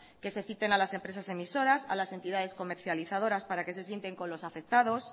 que se citen a las empresas emisoras a las entidades comercializadoras para que se sienten con los afectados